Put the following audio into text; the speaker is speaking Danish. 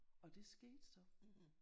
Og det skete så